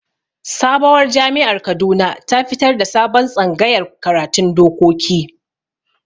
Sabowar jami'ar Kaduna ta fitar da sabon tsangayar karatun dokoki